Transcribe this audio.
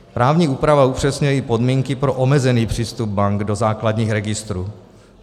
Právní úprava upřesňuje i podmínky pro omezený přístup bank do základních registrů.